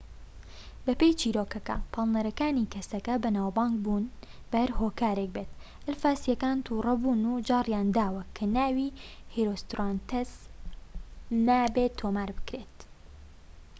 بەپێی چیرۆکەکە پاڵنەرەکانی کەسەکە بەناوبانگ بوون بووە بە هەر هۆکارێك بێت ئەلفاسیەکان تووڕەبوون و جاریانداوە کە ناوی هێرۆستراتەس نابێت تۆمار بکرێت